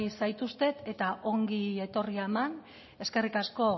zaituztet eta ongi etorria eman eskerrik asko